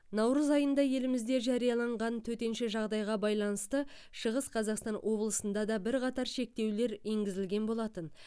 наурыз айында елімізде жарияланған төтенше жағдайға байланысты шығыс қазақстан облысында да бірқатар шектеулер енгізілген болатын